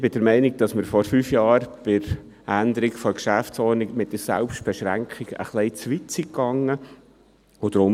Ich bin der Meinung, dass wir vor fünf Jahren, bei der Änderung der GO, mit der Selbstbeschränkung etwas zu weit gegangen sind.